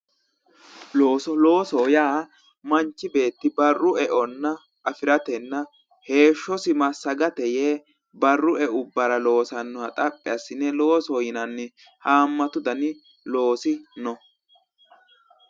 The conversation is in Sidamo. looso looso yaa manchi beetti barru eonna afiratenna heeshshosi massagate yee barru eubbara loosannoha xaphi assine loosoho yinanni haammatu dani loosi no.